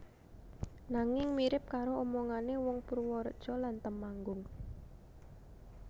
Nanging mirip karo omongane wong Purworejo lan Temanggung